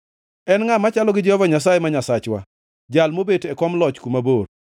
En ngʼa machalo gi Jehova Nyasaye ma Nyasachwa, Jal mobet e kom loch kuma bor,